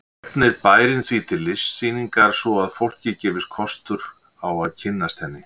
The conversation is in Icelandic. Efnir bærinn því til listsýningar svo að fólki gefist kostur á að kynnast henni.